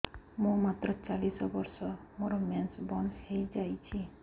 ମୁଁ ମାତ୍ର ଚାଳିଶ ବର୍ଷ ମୋର ମେନ୍ସ ବନ୍ଦ ହେଇଯାଇଛି